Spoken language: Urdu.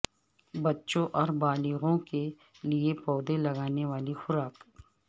بچوں اور بالغوں کے لئے پودے لگانے والی خوراک